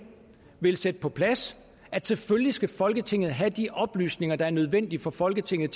vil sætte det på plads at selvfølgelig skal folketinget have de oplysninger der er nødvendige for folketinget